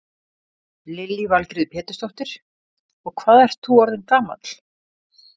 Lillý Valgerður Pétursdóttir: Og hvað ert þú orðinn gamall?